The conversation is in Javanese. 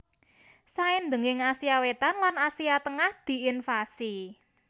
Saindhenging Asia Wétan lan Asia Tengah diinvasi